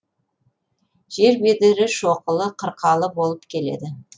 жер бедері шоқылы қырқалы болып келеді